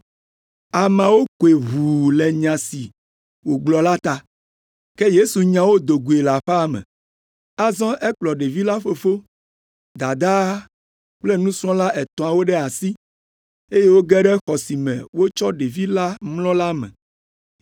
Ameawo koe ʋuu le nya si wògblɔ la ta. Ke Yesu nya wo do goe le aƒea me. Azɔ ekplɔ ɖevi la fofo, dadaa kple nusrɔ̃la etɔ̃awo ɖe asi, eye woge ɖe xɔ si me wotsɔ ɖevi la mlɔ la me.